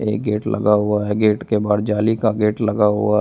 एक गेट लगा हुआ है गेट के बाहर जाली का गेट लगा हुआ --